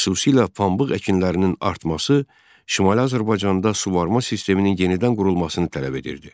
Xüsusilə pambıq əkinlərinin artması Şimali Azərbaycanda suvarma sisteminin yenidən qurulmasını tələb edirdi.